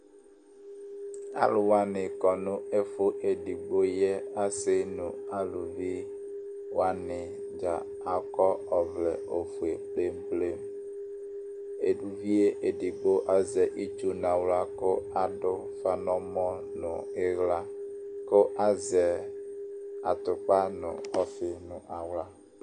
Alu wani kɔ nʋ ɛfu edigbo yɛ, asi nu aluvi wani dza akɔ ɔvlɛ ofue plemplemEduvie edigbo azɛ itsu naɣla kʋ adʋ ufa nɛmɔ nu iɣlaKʋ azɛ atupa nu ɔfi nʋ aɣla